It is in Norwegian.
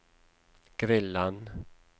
grillen